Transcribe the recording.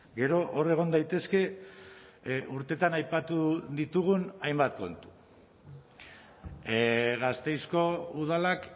gero hor egon daitezke urteetan aipatu ditugun hainbat kontu gasteizko udalak